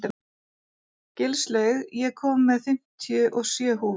Gilslaug, ég kom með fimmtíu og sjö húfur!